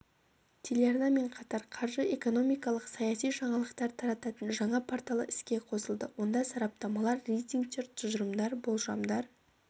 телеарнамен қатар қаржы экономикалық саяси жаңалықтар тарататын жаңа порталы іске қосылды онда сараптамалар рейтингтер тұжырымдар болжамдар